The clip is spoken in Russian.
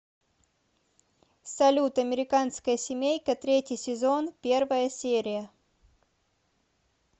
салют американская семейка третий сезон первая серия